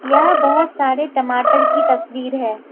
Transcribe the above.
यह बहोत सारे टमाटर की तस्वीर है।